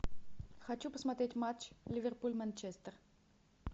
хочу посмотреть матч ливерпуль манчестер